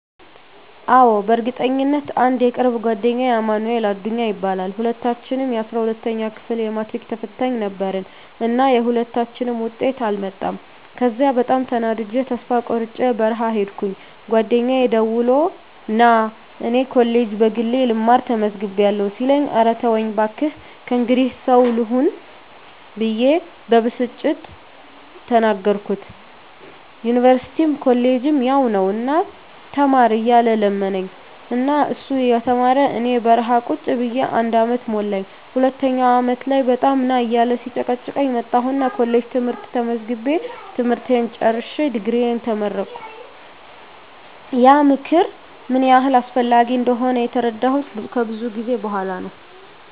አዎ፣ በእርግጠኝነት! *አንድ የቅርብ ጓደኛዬ አማንኤል አዱኛ ይባላል፦ *ሁለታችንም የ12ኛ ክፍል የማትሪክ ተፈታኝ ነበርን እና የሁለታችንም ውጤት አልመጣም ከዚያ በጣም ተናድጀ ተስፋ ቆርጨ በረሀ ሂድኩኝ ጓደኛየ ደውሎ ና እኔ ኮሌጅ በግሌ ልማር ተመዝግቢያለሁ ሲለኝ እረ ተወኝ ባክህ ከእንግዲህ ሰው ልሆን ብየ በብስጭት ተናገርኩት ዩኒቨርስቲም ኮሌጅም ያው ነው ና ተማር እያለ ለመነኝ እና እሱ እየተማረ እኔ በረሀ ቁጭ ብየ አንድ አመት ሞላኝ ሁለተኛው አመት ላይ በጣም ና እያለ ሲጨቀጭቀኝ መጣሁና ኮሌጅ ትምህርት ተመዝግቤ ትምህርቴን ጨርሸ ድግሪየን ተመረቀሁ። *ያ ምክር ምን ያህል አስፈላጊ እንደሆነ የተረዳሁት ከብዙ ጊዜ በኋላ ነው።